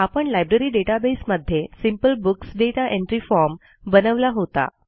आपण library database मध्ये simple books data entry form बनवला होता